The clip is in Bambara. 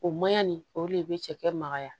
O maɲan nin o le bɛ cɛkɛ magaya